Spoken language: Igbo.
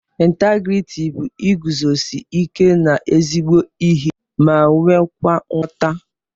Integriti bu iguzosi ike na ezigbo ihe ma nwekwa nghọta.